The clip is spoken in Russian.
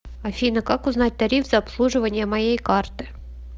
афина как узнать тариф за обслуживание моей карты